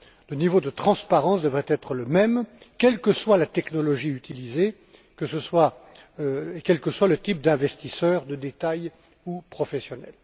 Le niveau de transparence devrait être le même, quelle que soit la technologie utilisée, quel que soit le type d'investisseur, de détail ou professionnel.